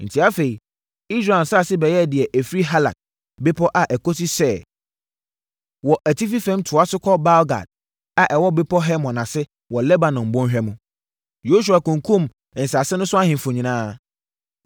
Enti afei, Israel nsase bɛyɛɛ deɛ ɛfiri Halak bepɔ a ɛkɔsi Seir wɔ atifi fam toaso kɔ Baal-Gad a ɛwɔ Bepɔ Hermon ase wɔ Lebanon bɔnhwa mu. Yosua kunkumm nsase no so ahemfo nyinaa,